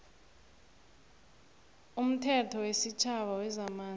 umthetho wesitjhaba wezamanzi